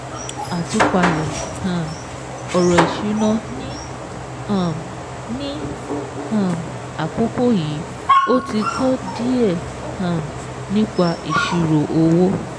Àtúpalẹ̀ um ọ̀rọ̀ ìṣúná ní um ní um àkókò yìí, o ti kọ́ díẹ̀ um nípa ìṣirò owó.